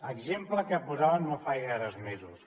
exemple que posaven no fa gaires mesos